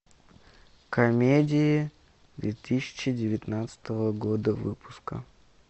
комедии две тысячи девятнадцатого года выпуска